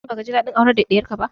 Shin baka ji daɗin aurar da diyarka ba?